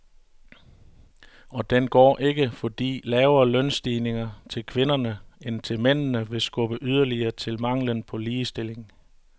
Og den går ikke, fordi lavere lønstigninger til kvinderne end til mændene vil skubbe yderligere til manglen på ligestilling.